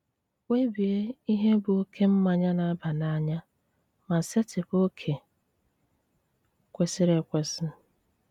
Kpebie ihe bụ oke mmanya na-aba n'anya, ma setịpụ oke kwesịrị ekwesị.